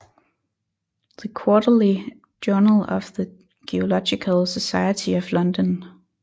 The Quarterly Journal of the Geological Society of London